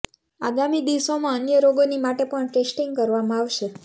આગામી દિવસોમાં અન્ય રોગોની માટે પણ ટેસ્ટીંગ કરવામાં આવશે